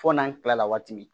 Fo n'an kila la waati min